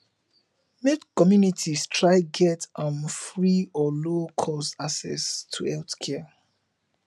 make communities try get um free or low cost access to healthcare